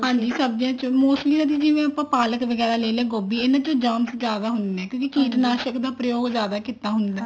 ਹਾਂਜੀ ਸਬਜੀਆਂ ਚ mostly ਜਿਵੇਂ ਆਪਾਂ ਪਾਲਕ ਵਗੈਰਾ ਲੈ ਲਿਆ ਗੋਭੀ ਇਹਨਾ ਚ germs ਜਿਆਦਾ ਹੁੰਦੇ ਨੇ ਕਿਉਂਕਿ ਕੀਟਨਾਸ਼ਕ ਦਾ ਪ੍ਰਯੋਗ ਜਿਆਦਾ ਕੀਤਾ ਹੁੰਦਾ